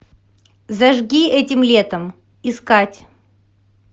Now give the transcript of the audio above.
зажги этим летом искать